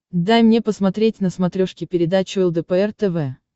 дай мне посмотреть на смотрешке передачу лдпр тв